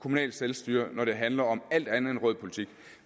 kommunalt selvstyre når det handler om alt andet end rød politik